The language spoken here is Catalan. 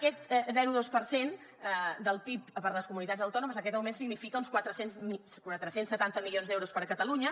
aquest zero coma dos per cent del pib per a les comunitats autònomes aquest augment significa uns quatre cents i setanta milions d’euros per a catalunya